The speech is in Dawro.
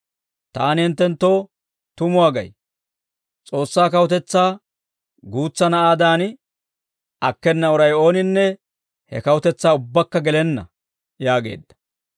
Taani hinttenttoo tumuwaa gay; S'oossaa kawutetsaa guutsa na'aadan akkena uray ooninne he kawutetsaa ubbakka gelenna» yaageedda.